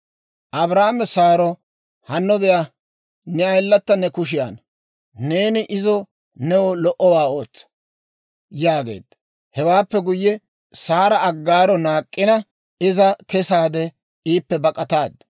Abraame Saaro, «Hanno be'a; ne ayilata ne kushiyaanna; neeni izo new lo"owaa ootsa» yaageedda. Hewaappe guyye, Saara Aggaaro naak'k'ina, iza kesaade iippe bak'attaaddu.